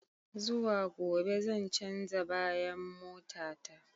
Zuwa gobe zan canza bayan mota ta.